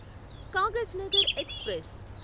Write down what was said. Kagaznagar express